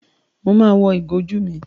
Mo ma wọ ìgò ojú mi.